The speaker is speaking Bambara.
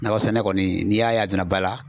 Nakɔ sɛnɛ kɔni n'i y'a ye a donna ba la